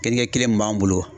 Kel Keninkɛ kelen min b'an bolo.